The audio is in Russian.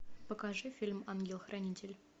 покажи фильм ангел хранитель